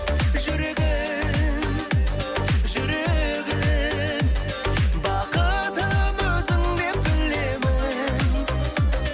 жүрегім жүрегім бақытым өзіңдеп білемін